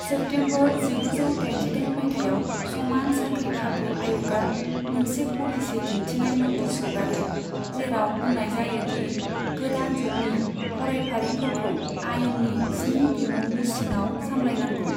September जिगुजौ दाइनजिदाइन मायथाइयाव, समान साख्रि खाबु आय'गआ मोनसे पलिसि दिन्थिनाय नटिस हगारो, जेराव बुंनाय जायो दि गोदान जुगनि फरायफारिफोरखौ आयेननि स्नि बिमुंनि सिङाव सामलायनांगौ।